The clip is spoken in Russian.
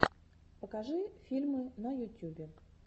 покажи фильмы на ютюбе